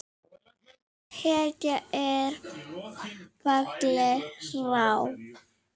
Hetja er fallin frá!